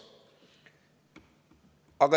Punkt kaks.